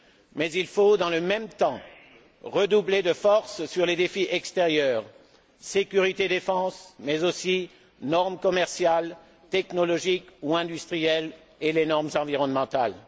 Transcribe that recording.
Mais il faut, dans le même temps, redoubler de force sur les défis extérieurs sécurité et défense, mais aussi normes commerciales, technologiques ou industrielles, et normes environnementales.